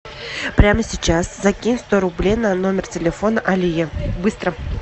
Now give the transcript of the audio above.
прямо сейчас закинь сто рублей на номер телефона алие быстро